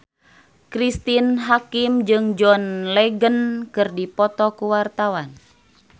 Cristine Hakim jeung John Legend keur dipoto ku wartawan